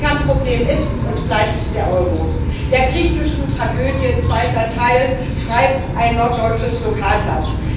Das Kernproblem ist und bleibt der Euro Der griechischen Tragödie zweiter Teil schreibt ein norddeutsches Lokalblatt.